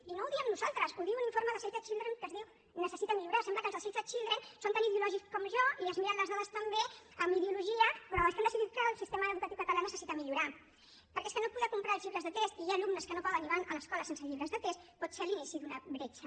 i no ho diem nosaltres ho diu un informe de save the children que es diu necessita millorar sembla que els de save the children són tan ideològics com jo i es miren les dades també amb ideologia però és que han decidit que el sistema educatiu català necessita millorar perquè és que no poder comprar els llibres de text i hi ha alumnes que no poden i van a l’escola sense llibres de text pot ser l’inici d’una bretxa